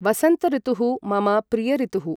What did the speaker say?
वसन्तऋतुः मम प्रियऋतुः।